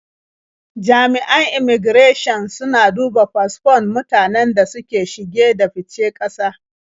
Jami'an immaigirashin suna duba fasfon mutanen da suke shige da fice ƙasa.